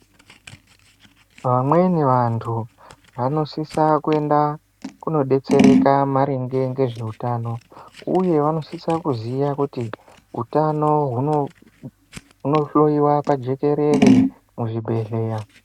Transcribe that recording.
Vamweni vantu vanosisa kuenda kunodetsereka maringe ngezveutano uye vanosisa kuziya kuti utano hunohloyiwa pajekerere muzvibhedhleya.